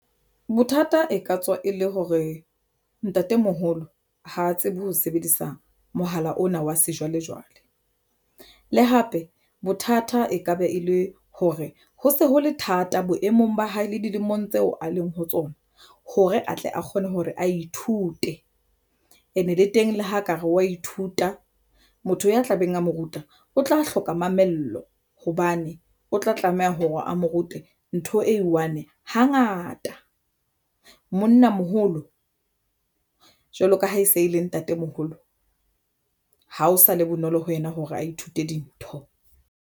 Bothata e ka tswa e le hore ntatemoholo ha tsebe ho sebedisa mohala ona wa sejwalejwale le hape bothata e ka be e le hore ho se ho le thata boemong ba hae le dilemong tseo a leng ho tsona hore atle a kgone hore a ithute ene le teng le ha ekare wa ithuta motho ya tla beng a mo ruta o tla hloka mamello hobane o tla tlameha hore a mo rute ntho e one hang ngata monnamoholo jwalo ka ha e se e le ntate moholo ha o sa le bonolo ho yena hore a ithute dintho.